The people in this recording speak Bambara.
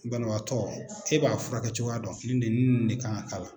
Banabaatɔ e b'a furakɛ cogoya dɔ nin de nin ni nn de kan k'a la